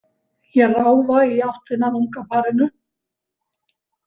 Ég ráfa í áttina að unga parinu.